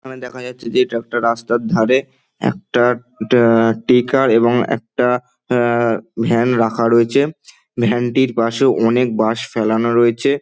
এখানে দেখা যাচ্ছে যে একটা রাস্তার ধারে একটা অ্যাঁ টেকার এবং একটা অ্যাঁ ভ্যান রাখা রয়েছে | ভ্যান -টির পাশে অনেক বাঁশ ফেলানো রয়েছে।